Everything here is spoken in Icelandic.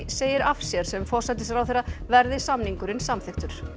segir af sér sem forsætisráðherra verði samningurinn samþykktur